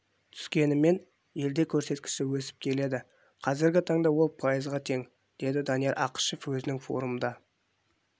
түскенімен елде көрсеткіші өсіп келеді қазіргі таңда ол пайызға тең деді данияр ақышев өзінің форумда